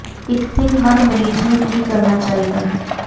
ਇੱਕ ਥਿੰਗ ਹਰ ਮਰੀਜ਼ ਨੂੰ ਕੀ ਕਰਨਾ ਚਾਹੀਦਾ ਹੈ